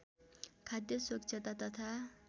खाद्य स्वच्छता तथा